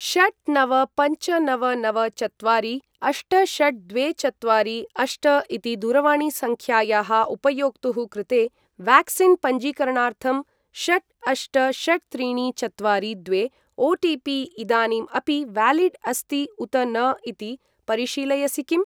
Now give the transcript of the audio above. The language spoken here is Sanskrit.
षट् नव पञ्च नव नव चत्वारि अष्ट षट् द्वे चत्वारि अष्ट इति दूरवाणीसङ्ख्यायाः उपयोक्तुः कृते व्याक्सीन् पञ्जीकरणार्थं षट् अष्ट षट् त्रीणि चत्वारि द्वे ओ.टि.पि. इदानीम् अपि व्यालिड् अस्ति उत न इति परिशीलयसि किम्?